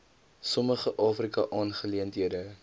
sommige afrika aangeleenthede